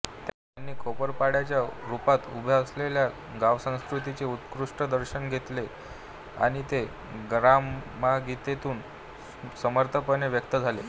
त्यांनी खेड्यापाड्याच्या रूपात उभ्या असलेल्या गावसंस्कृतीचे उत्कट दर्शन घेतले आणि ते ग्रामगीतेतून समर्थपणे व्यक्त झाले